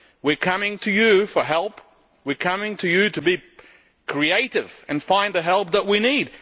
We are coming to you for help, we are coming to you to be creative and find the help that we need.